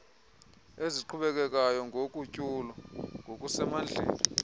eziqhubekekayo nogutyulo ngokusemandleni